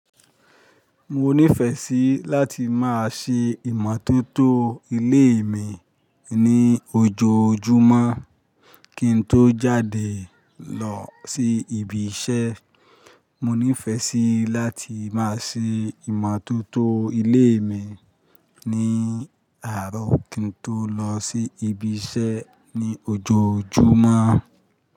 Mo nífẹẹ sí láti máa ṣe ìmọ̀tótó ilé mi ní ojoojúmọ́ kí n tó jáde lọ sí ibi iṣẹ́. Mo nífẹẹ sí láti máa ṣe ìmọ̀tótó ilé mi ní àárọ̀ kí n tó lọ sí ibi iṣẹ́ ní ojoojúmọ́